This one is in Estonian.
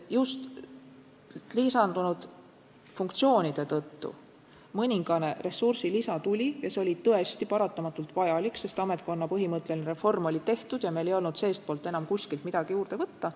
Just lisandunud funktsioonide tõttu mõningane ressursilisa meile tuli ja see oli tõesti paratamatult vajalik, sest ametkonna põhimõtteline reform oli tehtud ja meil ei olnud seestpoolt enam kuskilt midagi juurde võtta.